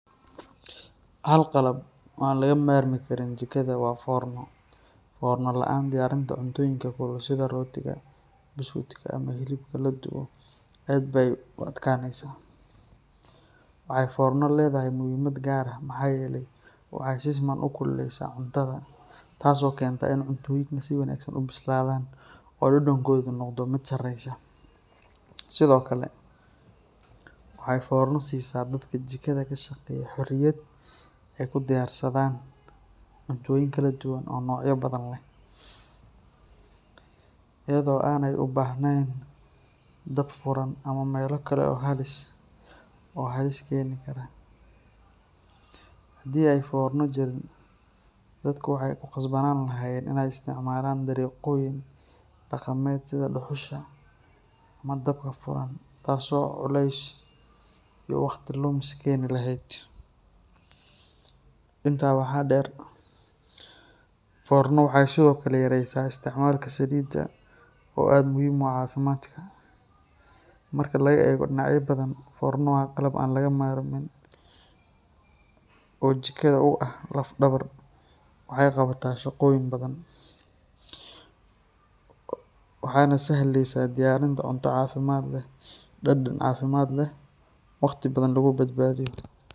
Hal qalab oo an laga marmi karin jikadha waa formo formo laan diyarinta cuntoyinka sitha rotika buskuudka oo ladubo aad be u aadkaneysa wexee forna ledhahay muhiimaad far ah waxaa yele wexee si fican u kululeysa cuntaadha taso kenta cuntoyinka si fican u bisladhan udhegodana noqda miid sareya sithokale waxee forna sisa dadka jikadha kashaqeya xoriyaad cuntoyin kaladuwan iyadho ee u bahnen dab furan oo halis keni kara, hadii ee forna jirin waxaa dadka ku qasbi leheed in ee istimalan dariqoyin kaladuwan sitha duxusha ama dabka furan kas oo culeys iyo waqti lumis keni leheed, intaa waxaa der fornadhu waxaa kalo yareysa istimalka saliida oo aad muhiim u aha cafimaadka marki laga ego dinacya fara badan forna an laga marmin oo jikadha u ah laf dawar, waxana sahleysa cunto diyarinta cafimaad leh, dad cafimaad leh oo dad badan lagu badbadiyo.